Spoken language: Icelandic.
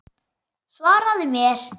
Svaraðu mér!